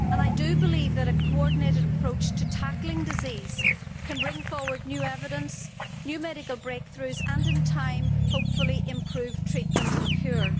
I believe that a coordinated approach to tackling disease can bring forward new evidence, new medical breakthroughs and, in time, hopefully improve treatment and cure.